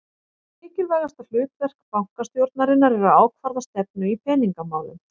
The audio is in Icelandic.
Mikilvægasta hlutverk bankastjórnarinnar er að ákvarða stefnu í peningamálum.